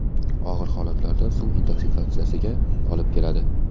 Og‘ir holatlarda suv intoksikatsiyasiga olib keladi.